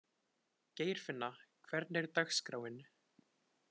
Geirfinna, hvernig er dagskráin?